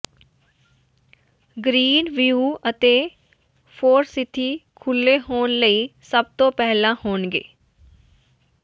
green View ਅਤੇ Forsythe ਖੁੱਲੇ ਹੋਣ ਲਈ ਸਭ ਤੋਂ ਪਹਿਲਾਂ ਹੋਣਗੇ